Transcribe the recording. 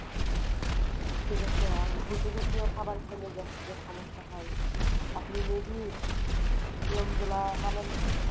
ঠিক আসে? আর ভুজিয়া জাতীয় খাবার খেলে gastric এর সমস্যা হয়, আপনি may be নিয়ম গুলা মানেন না,